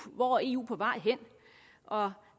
hvor er eu på vej hen og